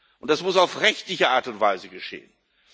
Und das muss auf rechtliche Art und Weise geschehen.